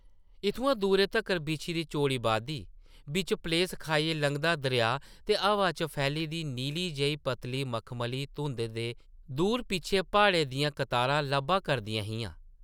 इत्थुआं दूरै तगर बिछी दी चौड़ी वादी, बिच्च प्लेस खाइयै लंघदा दरेआ ते हवा च फैली दी नीली जेही पतली मखमली धुंदा दे दूर पिच्छें प्हाड़ें दियां कतारां लब्भा करदियां हियां ।